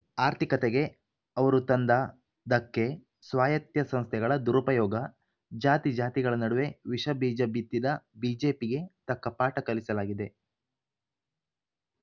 ಆರ್ಥಿಕತೆಗೆ ಅವರು ತಂದ ಧಕ್ಕೆ ಸ್ವಾಯತ್ಯ ಸಂಸ್ಥೆಗಳ ದುರುಪಯೋಗ ಜಾತಿಜಾತಿಗಳ ನಡುವೆ ವಿಷ ಬೀಜ ಬಿತ್ತಿದ ಬಿಜೆಪಿಗೆ ತಕ್ಕ ಪಾಠ ಕಲಿಸಲಾಗಿದೆ